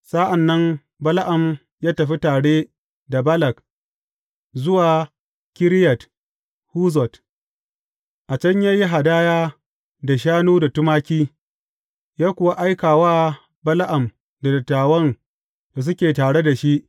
Sa’an nan Bala’am ya tafi tare da Balak zuwa Kiriyat Huzot, a can ya yi hadaya da shanu da tumaki, ya kuwa aika wa Bala’am da dattawan da suke tare da shi.